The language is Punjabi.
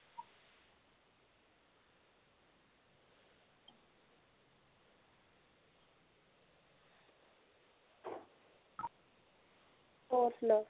ਹੋਰ ਸੁਣਾ